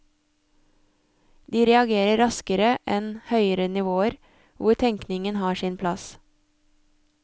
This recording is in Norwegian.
De reagerer raskere enn høyere nivåer, hvor tenkningen har sin plass.